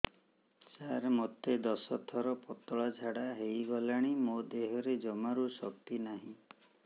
ସାର ମୋତେ ଦଶ ଥର ପତଳା ଝାଡା ହେଇଗଲାଣି ମୋ ଦେହରେ ଜମାରୁ ଶକ୍ତି ନାହିଁ